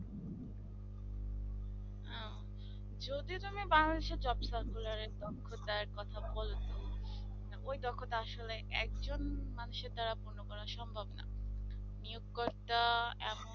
যদি তুমি Bangladesh job circular এর দক্ষতার কথা বললে ওই দক্ষতা আসলে একজন মানুষের দ্বারা পূর্ণ করা সম্ভব নয় নিয়োগ করাটা এমন